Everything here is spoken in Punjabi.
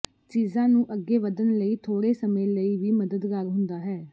ਚੀਜ਼ਾਂ ਨੂੰ ਅੱਗੇ ਵਧਣ ਲਈ ਥੋੜ੍ਹੇ ਸਮੇਂ ਲਈ ਵੀ ਮਦਦਗਾਰ ਹੁੰਦਾ ਹੈ